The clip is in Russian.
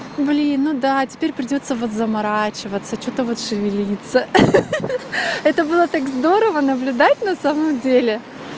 блин ну да теперь придётся вот заморачиваться что-то вот шевелится ха-ха это было так здорово наблюдать на самом деле